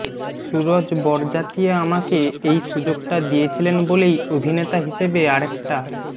সুরজ বরজাতিয়া আমাকে এই সুযোগটা দিয়েছিলেন বলেই অভিনেতা হিসেবে আরেকটা